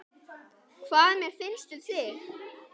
Hvað mér finnst um þig?